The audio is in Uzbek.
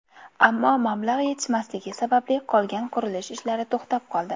Ammo mablag‘ yetishmasligi sababli qolgan qurilish ishlari to‘xtab qoldi.